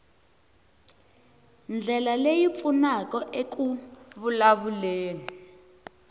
ndlela leyi pfunaka eku vulavuleni